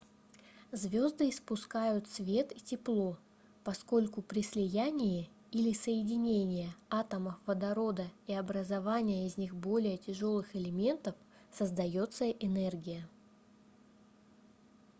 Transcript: звёзды испускают свет и тепло поскольку при слияние или соединения атомов водорода и образования из них более тяжёлых элементов создаётся энергия